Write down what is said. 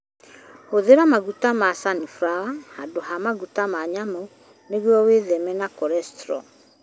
Hũthĩra maguta ma canibrawa handũ ha maguta ma nyamũ nĩguo wĩtheme korecitro.